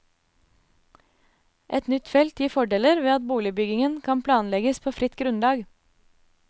Et nytt felt gir fordeler ved at boligbyggingen kan planlegges på fritt grunnlag.